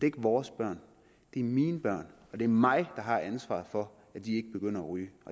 ikke vores børn det er mine børn og det er mig der har ansvaret for at de ikke begynder at ryge